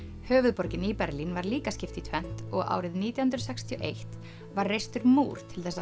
höfuðborginni Berlín var líka skipt í tvennt og árið nítján hundruð sextíu og eitt var reistur múr til